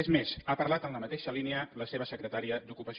és més ha parlat en la mateixa línia la seva secretària d’ocupació